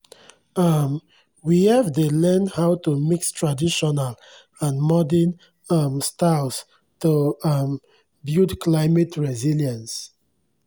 um we fdey learn how to mix traditional and modern um styles to um build climate resilience